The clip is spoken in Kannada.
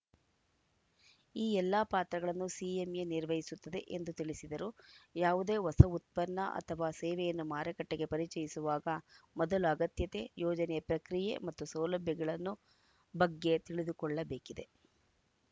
ಈ ಎಲ್ಲ ಪಾತ್ರಗಳನ್ನು ಸಿಎಂಎ ನಿರ್ವಹಿಸುತ್ತದೆ ಎಂದು ತಿಳಿಸಿದರು ಯಾವುದೇ ಹೊಸ ಉತ್ಪನ್ನ ಅಥವಾ ಸೇವೆಯನ್ನು ಮಾರುಕಟ್ಟೆಗೆ ಪರಿಚಯಿಸುವಾಗ ಮೊದಲು ಅಗತ್ಯತೆ ಯೋಜನೆ ಪ್ರಕ್ರಿಯೆ ಮತ್ತು ಸೌಲಭ್ಯಗಳನ್ನು ಬಗ್ಗೆ ತಿಳಿದುಕೊಳ್ಳಬೇಕಿದೆ